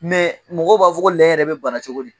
Mɛ mɔgɔw b'a fɔ ko lɛ yɛrɛ bɛ bana cogo di?